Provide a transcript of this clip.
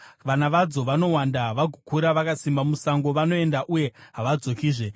Vana vadzo vanowanda vagokura vakasimba musango; vanoenda uye havadzokizve.